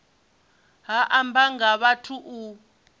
ha amba nga vhathu u